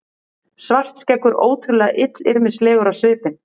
Svartskeggur ótrúlega illyrmislegur á svipinn.